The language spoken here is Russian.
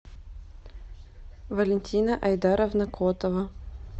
валентина айдаровна котова